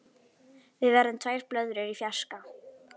Við verðum tvær blöðrur í fjarska.